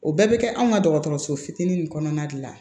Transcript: O bɛɛ bɛ kɛ anw ka dɔgɔtɔrɔso fitiinin nin kɔnɔna de la